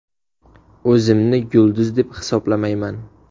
O‘zimni yulduz deb hisoblamayman.